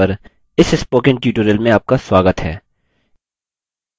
libreoffice base पर इस spoken tutorial में आपका स्वागत है